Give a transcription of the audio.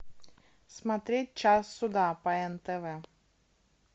смотреть час суда по нтв